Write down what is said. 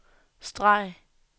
streg